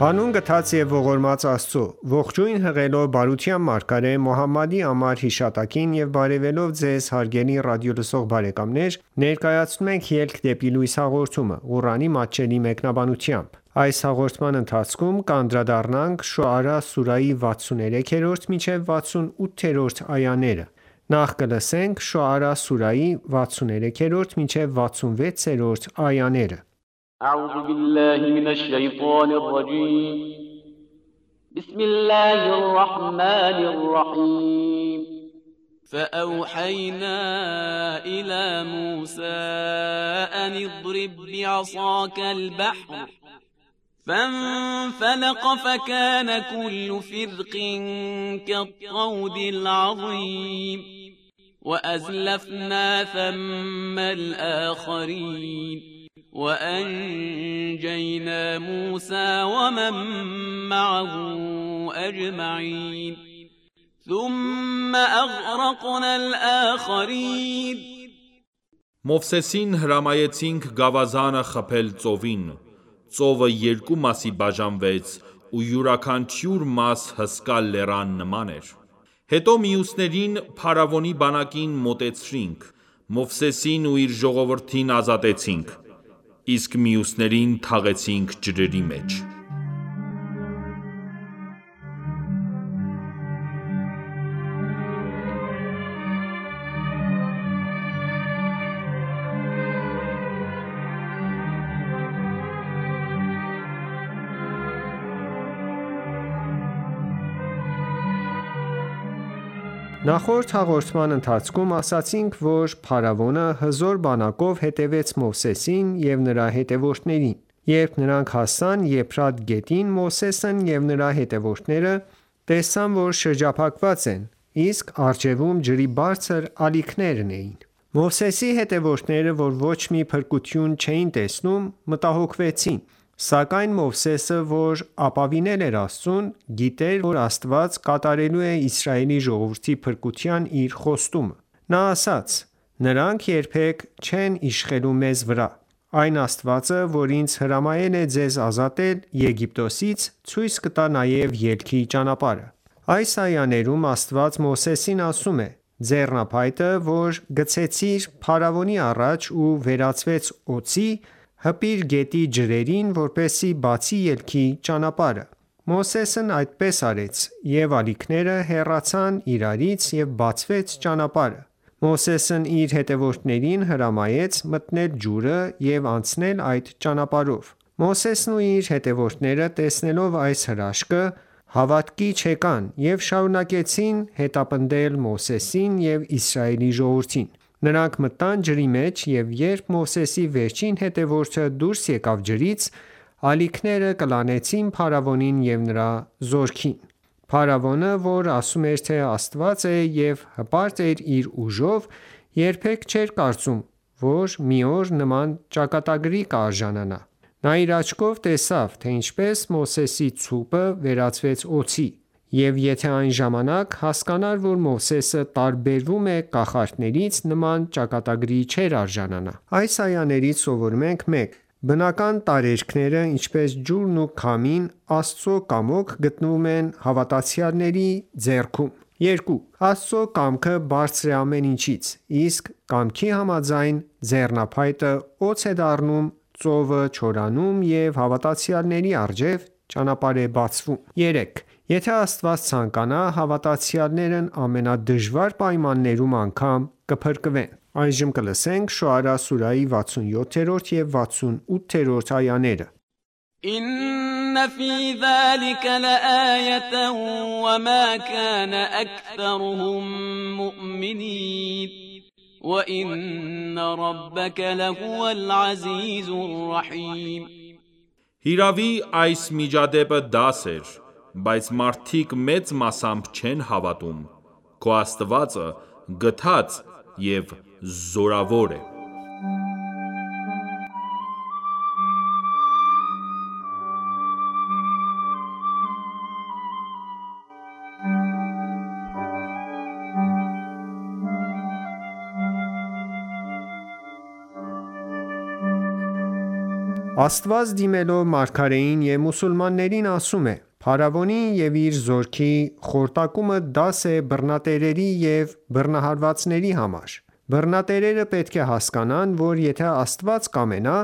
Հանուն գթած և ողորմած Աստծո:Ողջույն հղելով բարության մարգարե Մոհամմադի անմար հիշատակին եւ բարեւելով Ձեզ հարգելի ռադիոլսող բարեկամներ ներկայացնում ենք «Ելք դեպի լույս» հաղորդումը, Ղուրանի մատչելի մեկնաբանությամբ: Շոարա սուրահի 63-66-րդ այաներ وَأَزْلَفْنَا ثَمَّ الْآخَرِینَ وَأَنجَیْنَا مُوسَى وَمَن مَّعَهُ أَجْمَعِینَ Մովսեսին հրամայեցինք գավազանը խփել ծովին:Ծովը Երկու մասի բաժանվեց ու յուրաքանչյուր մաս հսկա լեռան նման էր: Հետո մյուսներին (Փարավոնի բանակին) մոտեցրինք: Մովսեսին ու իր ժողովրդին ազատեցինք: Իսկ մյուսներին թաղեցինք ջրերի մեջ: Նախորդ հաղորդման ընթացքում ասացինք, որ փարավոնը հզոր բանակով հետևեց Մովսեսին ու նրա հետևորդներին: Երբ նրանք հասան Եփրատ գետին, Մովսեսն ու նրա հետևորդները տեսան որ շրջափակված են, իսկ առջևում ջրի բարձր ալիքներն էին: Մովսեսի հետևորդները, որ ոչ մի փրկություն չէին տեսնում, մտահոգվեցին: Սակայն Մովսեսը, որ ապավինել էր Աստծուն, գիտեր, որ Աստված կատարելու է Իսրայելի ժողովրդի փրկության իր խոստումը: Նա ասաց. «Նրանք երբեք չեն իշխելու մեզ վրա: Այն Աստվածը, որ ինձ հրամայել է ձեզ ազատել Եգիպտոսից, ցույց կտա նաև ելքի ճանապարհը»: Այս այաներում, Աստված Մովսեսին ասում է. «Ձեռնափայտը, որ գցեցիր փարավոնի առաջ ու վերածվեց օձի, հպիր գետի ջրերին, որպեսզի բացի ելքի ճանապարհը: Մովսեսն այդպես արեց և ալիքները հեռացան իրարից ու բացվեց ճանապարհը: Մովսեսն իր հետևորդներին հրամայեց մտնել ջուրը և անցնել այդ ճանապարհով: Փարավոնն ու իր հետևորդները, տեսնելով այս հրաշքը, հավատքի չեկան ու շարունակեցին հետապնդել Մովսեսին ու Իսրայելի ժողովրդին: Նրանք մտան ջրի մեջ և երբ Մովսեսի վերջին հետևորդը դուրս եկավ ջրից, ալիքները կլանեցին փարավոնին ու նրա զորքին: Փարավոնը, որ ասում էր թե Աստված է և հպարտ էր իր ուժով, երբեք չէր կարծում, որ մի օր նման ճակատագրի կարժանանա: Նա իր աչքով տեսավ, թե ինչպես Մովսեսի ցուպը վերածվեց օձի: Եվ եթե այն ժամանակ հասկանար, որ Մովսեսը տարբերվում է կախարդներից, նման ճակատագրի չէր արժանանա: Այս այաներից սովորում ենք. 1. Բնական տարերքները, ինչպես ջուրն ու քամին, Աստծո կամոք գտնվում են հավատացյալների ձեռքում: 2. Աստծո կամքը բարձր է ամեն ինչից: Այդ կամքի համաձայն, ձեռնափայտը օձ է դառնում, ծովը չորանում, և հավատացյալների առջև ճանապարհ է բացվում: 3. Եթե Աստված ցանկանա, հավատացյալներն ամենադժվար պայմաններում անգամ կփրկվեն: Շոարա սուրահի 67 և 68-րդ այաներ إِنَّ فِی ذَلِکَ لَآیَةً وَمَا کَانَ أَکْثَرُهُم مُّؤْمِنِینَ وَإِنَّ رَبَّکَ لَهُوَ الْعَزِیزُ الرَّحِیمُ Հիրավի, (այս միջադեպը) դաս էր: Բայց մարդիկ մեծ մասամբ չեն հավատում: Քո Աստվածը գթած և զորավոր է: Աստված, դիմելով մարգարեին և մուսուլմաններին, ասում է. «Փարավոնի ու իր զորքի խորտակումը դաս է բռնատերերի և բռնահարվածների համար: Բռնատերերը պետք է հասկանան, որ եթե Աստված կամենա,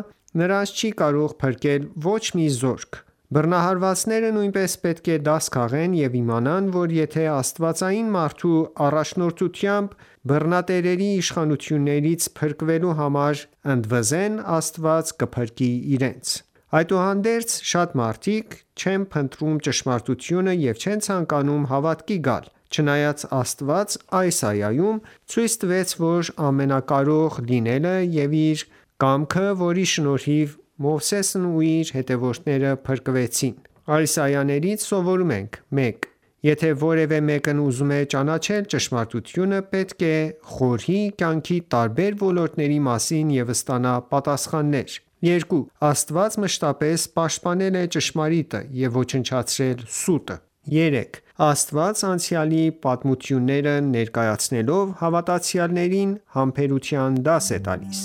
նրանց չի կարող փրկել ոչ մի զորք: Բռնահարվածները նույնպես պետք է դաս քաղեն և իմանան, որ եթե աստվածային մարդու առաջնորդությամբ բռնատերերի իշխանությունից փրկվելու համար ընդվզեն, Աստված կփրկի իրենց»: Այսուհանդերձ, շատ մարդիկ, չեն փնտրում ճշմարտությունը և չեն ցանկանում հավատքի գալ, չնայած Աստված այս այայում ցույց տվեց իր ամենակարող լինելը և իր կամքը, որի շնորհիվ Մովսեսն ու իր հետևորդները փրկվեցին։ Այս այաներից սովորում ենք. 1. Եթե որևէ մեկն ուզում է ճանաչել ճշմարտությունը, պետք է խորհի կյանքի տարբեր ոլորտների մասին ու ստանա պատասխաններ: 2. Աստված մշտապես պաշտպանել է ճշմարիտը և ոչնչացրել սուտը: 3. Աստված անցյալի պատմությունները ներկայացնելով, հավատացյալներին համբերության դաս է տալիս: